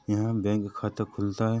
यहाँ बैंक खाता खुलता है।